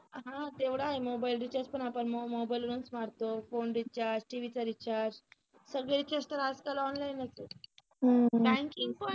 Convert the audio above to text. हा तेवढा आहे मोबाईल recharge पण आपण मोबाईल वरणच मारतो phone rechargeTV चा recharge सगळेच आज काल online च आहे बँकिंग पण